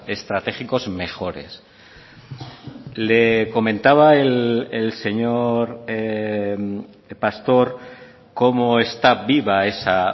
estratégicos mejores le comentaba el señor pastor cómo está viva esa